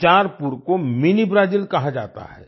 बिचारपुर को mini Brazil कहा जाता है